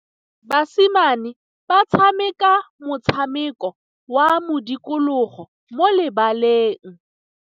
Basimane ba tshameka motshameko wa modikologô mo lebaleng.